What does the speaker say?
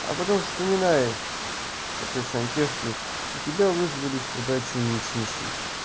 а потом вспоминаешь что ты сантехник и тебя вызвали сюда чинить смеситель